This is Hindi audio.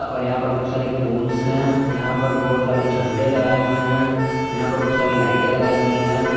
और यहां पर बहुत सारे पोल्स हैं यहां पर बहुत सारे झंडे लगाए हुए हैं यहां पर बहुत सारी लाइटें लगाई हुई हैं।